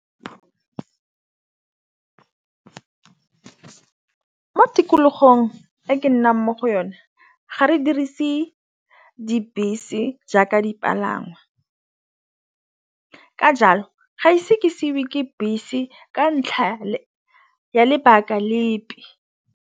Mo tikologong e ke nnang mo go yone ga re dirise dibese jaaka dipalangwa ka jalo ga ise ke seiwe ke bese ka ntlha ya lebaka lepe.